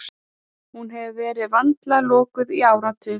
Hún hefur verið vandlega lokuð í áratugi.